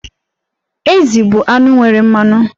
Ezì bụ anụ nwere mmanụ.